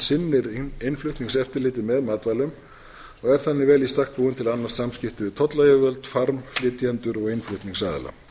sinnir innflutningseftirliti með matvælum og er þannig vel í stakk búin til að annast samskipti við tollayfirvöld farmflytjendur og innflutningsaðila